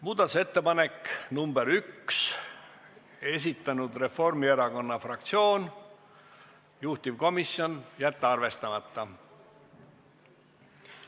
Muudatusettepanek nr 1, esitanud Reformierakonna fraktsioon, juhtivkomisjon: jätta arvestamata.